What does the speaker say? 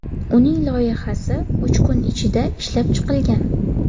Uning loyihasi uch kun ichida ishlab chiqilgan.